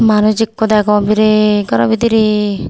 manus ikko degong biret gorow bidirey.